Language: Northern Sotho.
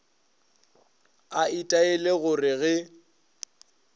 a itaile go re ge